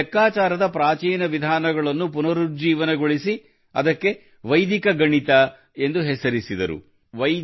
ಇವರು ಲೆಕ್ಕಾಚಾರದ ಪ್ರಾಚೀನ ವಿಧಾನಗಳನ್ನು ಪುನರುಜ್ಜೀವಗೊಳಿಸಿ ಅದಕ್ಕೆ ವೈದಿಕ ಗಣಿತ ಎಂದು ಹೆಸರಿಸಿದರು